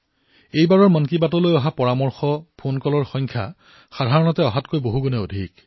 এই খণ্ডৰ মন কী বাতৰ বাবে লাভ কৰা পৰামৰ্শ ফোন কলৰ সংখ্যা সাধাৰণ সময়তকৈ যথেষ্ট বৃদ্ধি পাইছে